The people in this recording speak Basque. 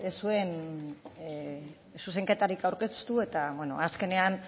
ez zuen zuzenketarik aurkeztu eta azkenean